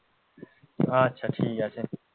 আচ্ছা ঠিকআছে